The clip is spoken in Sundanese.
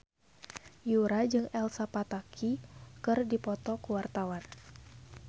Yura jeung Elsa Pataky keur dipoto ku wartawan